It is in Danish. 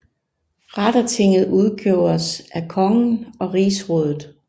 Rettertinget udgjordes af kongen og Rigsrådet